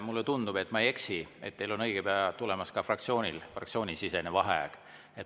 Mulle tundub, kui ma ei eksi, et teie fraktsioonil on õige pea tulemas ka fraktsioonisisene vaheaeg.